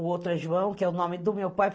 O outro é João, que é o nome do meu pai.